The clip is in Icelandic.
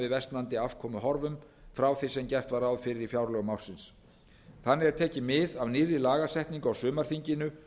versnandi afkomuhorfum frá því sem gert var ráð fyrir í fjárlögum ársins þannig er tekið mið af nýrri lagasetningu á sumarþinginu